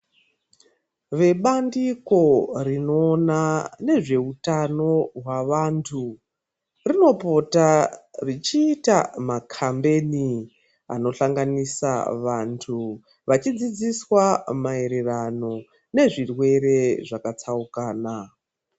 Vebandiko rinoona nezveutano hwavantu rinopota richiita makhambeni anohlanganisa vantu vachidzidziswa maererano nezvirwere zvakatsaukana.